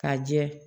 Ka jɛ